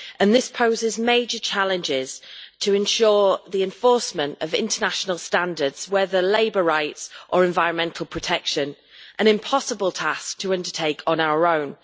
This poses major challenges to ensure the enforcement of international standards, whether labour rights or environmental protection an impossible task to undertake on our own.